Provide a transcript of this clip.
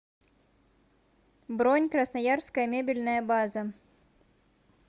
бронь красноярская мебельная база